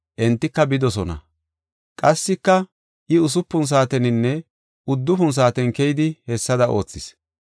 Entika bidosona. Qassika I usupun saateninne uddufun saaten keyidi hessada oothis.